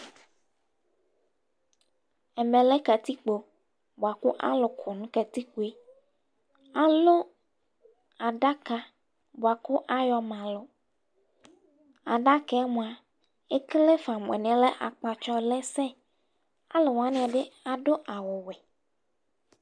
Ɛmɛ lɛ katikpo, bʋa kʋ alʋ abʋ nʋ katikpoeAlʋ adaka bʋa kʋ ayɔ ma alʋAdaka yɛ mʋa ,ekele fa mʋ alɛna yɛ kʋ akpatsɔ lɛ sɛ, alʋ wanɩ bɩ adʋ awʋ wɛ